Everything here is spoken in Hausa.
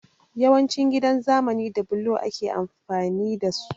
Yawancin gidan zamani da blo ake amfani da su